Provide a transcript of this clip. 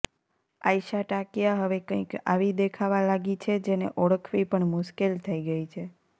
આયશા ટાકિયા હવે કઈક આવી દેખાવા લાગી છે જેને ઓળખવી પણ મુશ્કેલ થઇ ગઈ છે